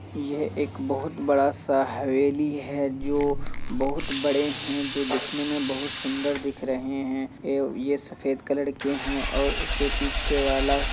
यह एक बहुत बड़ा सा हवेली है जो बहुत बड़े है जो दिखने में बहुत सुन्दर दिख रहे है। ये ये सफ़ेद कलर के है और उसके पीछे वाला --